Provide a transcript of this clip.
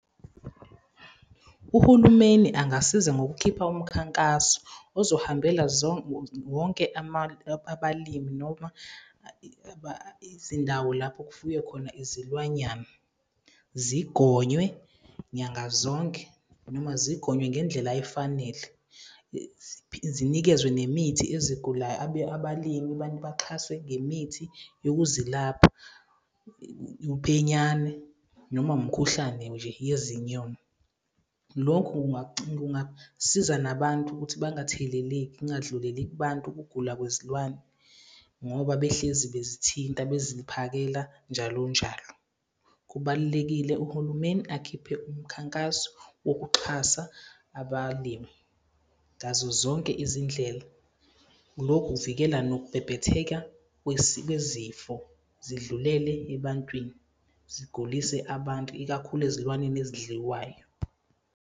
Uhulumeni angasiza ngokukhipha umkhankaso ozohambela wonke abalimi noma izindawo lapho kufuyiwe khona izilwanyana. Zigonywe nyanga zonke, noma zigonywe ngendlela ayifanele zinikezwe nemithi ezigulayo. Abalimi abantu baxhaswe ngemithi yokuzilapha uphenyane, noma umkhuhlane nje . Lokhu kungasiza nabantu ukuthi bangatheleleki, kungandluleli kubantu ukugula kwezilwane. Ngoba behlezi bezithinta, beziphakela njalo njalo. Kubalulekile uhulumeni akhiphe umkhankaso wokuxhasa abalimi ngazo zonke izindlela. Lokhu kuvikela nokubhebhetheka kwezifo zidlulele ebantwini, zigulise abantu, ikakhulu ezilwaneni ezidliwayo.